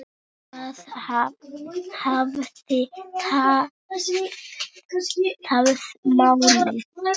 Það hafi tafið málið.